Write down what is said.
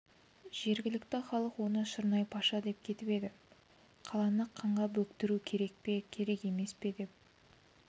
жергілікті халық оны шырнай-паша деп кетіп еді қаланы қанға бөктіру керек пе керек емес пе деп